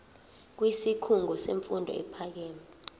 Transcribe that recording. kwisikhungo semfundo ephakeme